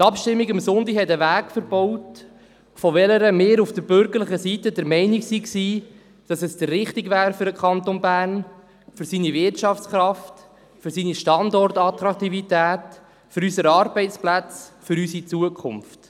Die Abstimmung vom Sonntag hat einen Weg verbaut, von dem wir von bürgerlicher Seite der Meinung waren, er wäre der richtige für den Kanton Bern, für seine Wirtschaftskraft, für seine Standortattraktivität, für unsere Arbeitsplätze und für unsere Zukunft.